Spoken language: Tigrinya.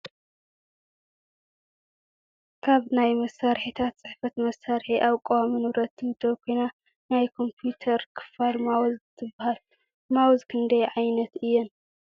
ካብ ናይ መሳሪሒታት ፅሕፈት መሳርሒ ኣብ ቀዋሚ ንብረት ትምደብ ኮይና ናይ ኮምፑተር ክፋል ማውዝ ትበሃል ማውዝ ክንዳይ ዓይነት እየን ።